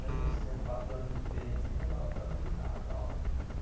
Mesmo sendo quatro anos de diferença ainda dava para brincar e tal.